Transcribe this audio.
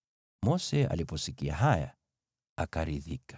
Mose aliposikia haya, akaridhika.